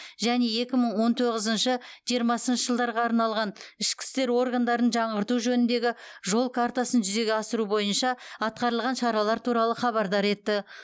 және екі мың он тоғызыншы жиырмасыншы жылдарға арналған ішкі істер органдарын жаңғырту жөніндегі жол картасын жүзеге асыру бойынша атқарылған шаралар туралы хабардар етті